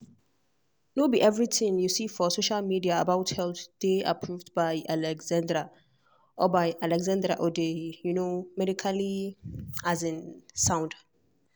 no be everything you see for social media about health dey approved by alexandria or by alexandria or dey um medically um sound.